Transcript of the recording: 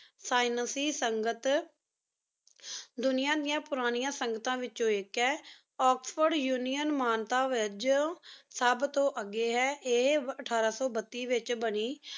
ਸ੍ਕਿਏਨ੍ਕ੍ਯ ਸੰਗਤ ਦੁਨਿਯਾ ਡਿਯਨ ਪੁਰਾਨਿਯਾਂ ਸੰਗਤਾਂ ਵਿਚੋ ਆਇਕ ਹੈ ਓਕ੍ਸ੍ਫੋਰਡ ਉਨਿਓਂ ਮਾਨਤਾ ਵਜੋ ਸਬ ਤੋ ਅਗੀ ਹੈ ਆਯ ਅਥਾਰ ਸੋ ਬਤੀਸ ਵਿਚ ਬਾਨੀ